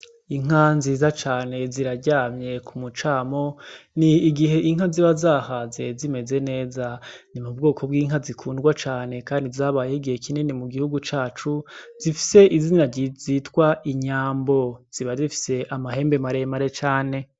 Inka nziza cane ziraryamye ku mucamo. Ni igihe inka ziba zahaze zimeze neza. Ni mu bwoko bw'inka zikundwa cane kandi zabayeho igihe kinini mu gihugu cacu, zifise izina zitwa inyambo. Ziba zifise amahembe maremare cane.